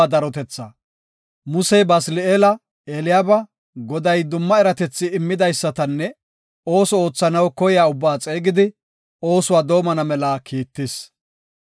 Musey Basili7eela, Eliyaaba, Goday dumma eratethi immidaysatanne ooso oothanaw koyiya ubbaa xeegidi, oosuwa doomana mela kiittis.